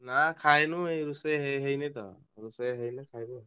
ନା ଖାଇନୁ ଏଇ ରୁସେଇ ହେଇନି ତୋ ରୁସେଇ ହେଲେ ଖାଇବୁ ଆଉ।